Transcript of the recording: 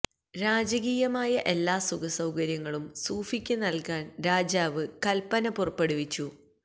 രാജകീയമായ എല്ലാ സുഖസൌകര്യങ്ങളും സൂഫിക്ക് നല്കാന് രാജാവ് കല്പന പുറപ്പെടുവിച്ചു